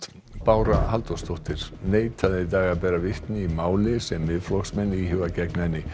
Bára Halldórsdóttir neitaði í dag að bera vitni í máli sem Miðflokksmenn íhuga gegn henni